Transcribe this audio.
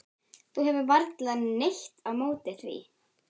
Þú hefur varla neitt á móti því?